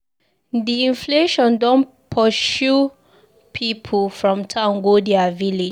Di inflation don pursue pipu from town go their village.